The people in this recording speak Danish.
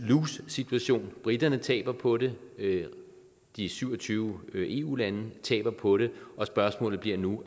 situation briterne taber på det de syv og tyve eu lande taber på det og spørgsmålet bliver nu